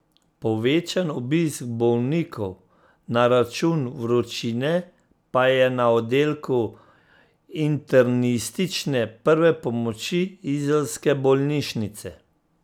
Povečan obisk bolnikov na račun vročine pa je na oddelku internistične prve pomoči izolske bolnišnice.